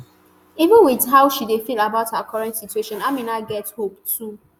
even wit how she feel about her current situation amina get hope too